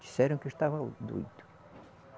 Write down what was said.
Disseram que eu estava doido.